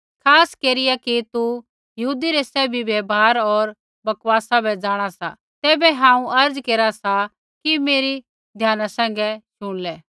खास केरिया कि तू यहूदी रै सैभी व्यवहार होर बकवासा बै जाँणा सा तैबै हांऊँ अर्ज़ केरा सा कि मेरी ध्याना सैंघै शुणलै